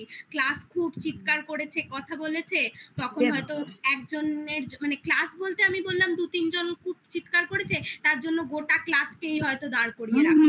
class খুব চিৎকার করেছে কথা বলেছে তখন হয়তো একজনের মানে class বলতে আমি বললাম দু তিনজন খুব চিৎকার করেছে তার জন্য গোটা class কেই হয়তো দাঁড় করিয়ে দিল রাখলো